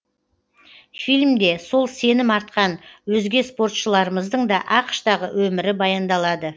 фильмде сол сенім артқан өзге спортшыларымыздың да ақш тағы өмірі баяндалады